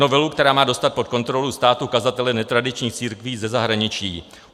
Novelu, která má dostat pod kontrolu státu kazatele netradičních církví ze zahraničí.